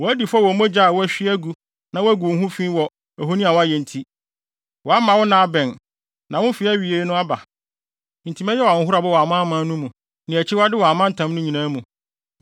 woadi fɔ wɔ mogya a woahwie agu na woagu wo ho fi wɔ ahoni a woayɛ nti. Woama wo nna abɛn, na wo mfe awiei no aba. Enti mɛyɛ wo ahohorade wɔ amanaman no mu, ne akyiwade wɔ amantam no nyinaa mu.